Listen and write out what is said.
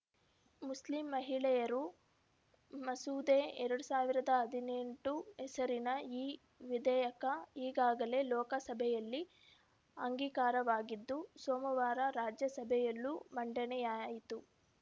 Muslim ಮಹಿಳೆಯರು ಮಸೂದೆ ಎರಡ್ ಸಾವಿರದ ಹದಿನೆಂಟು ಹೆಸರಿನ ಈ ವಿಧೇಯಕ ಈಗಾಗಲೇ ಲೋಕಸಭೆಯಲ್ಲಿ ಅಂಗೀಕಾರವಾಗಿದ್ದು ಸೋಮವಾರ ರಾಜ್ಯಸಭೆಯಲ್ಲೂ ಮಂಡನೆಯಾಯಿತು